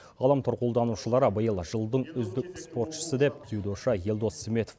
ғаламтор қолданушылары биыл жылдың үздік спортшысы деп дзюдошы елдос сметов